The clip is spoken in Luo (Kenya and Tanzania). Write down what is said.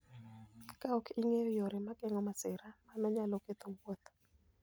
Kaok ing'eyo yore mag geng'o masira, mano nyalo ketho wuoth.